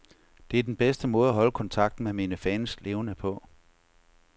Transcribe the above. Det er den bedste måde at holde kontakten med mine fans levende på.